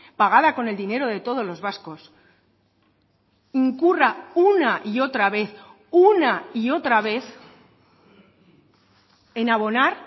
pagada con el dinero de todos los vascos incurra una y otra vez una y otra vez en abonar